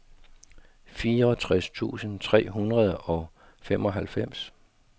fireogtres tusind tre hundrede og femoghalvfems